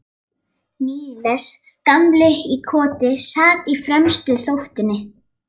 Níels gamli í Koti sat á fremstu þóftunni.